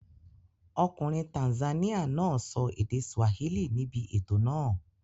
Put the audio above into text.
Ọkùnrin Tanzania náà sọ èdè Swahili níbi ètò náà.